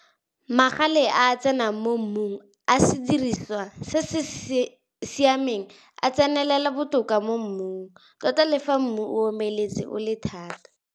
Photo 2. Magale a a tsenang mo mmung a sediriswa se se siameng a tsenelela botoka mo mmung, tota le fa mmu o omeletse o le thata.